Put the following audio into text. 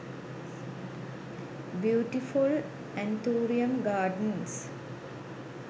beautiful anthurium gardens